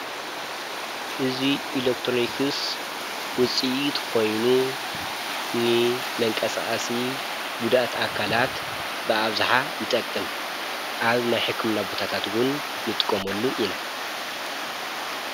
እዙይ ኢሌክትሮኒይክስ ውፂኡትኾይኑ ን መንቀጽኣሲ ጕዳት ኣካላት ብኣብዝኃ ይጠቅም ኣብ ናይሒኩም ናቦታታትውን ንጥቆመሉ ኢና።